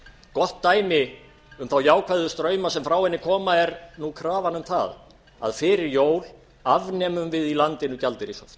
gott dæmi um þá jákvæðu strauma sem frá henni koma er nú krafan um það að fyrir jól afnemum við í landinu gjaldeyrishöft